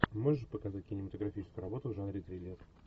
можешь показать кинематографическую работу в жанре триллер